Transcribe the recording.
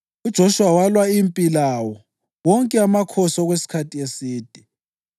i-Anathothi le-Alimoni, ndawonye lamadlelo awo kwaba ngamadolobho amane.